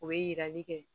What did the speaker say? O ye yirali kɛ